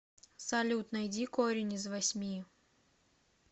салют найди корень из восьми